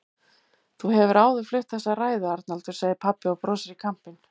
Þú hefur áður flutt þessa ræðu, Arnaldur, segir pabbi og brosir í kampinn.